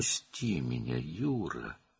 "Məni burax, Yura!"